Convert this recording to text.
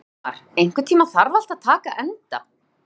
Ísmar, einhvern tímann þarf allt að taka enda.